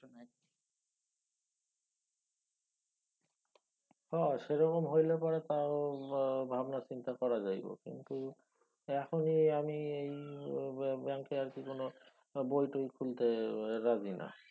হ সেরকম হইলে পরে তাও ভাবনা চিন্তা করা যাইব। কিন্তু এখনি আমি এই ব্যাঙ্কে আর কি কোনও বই টই খুলতে রাজি না।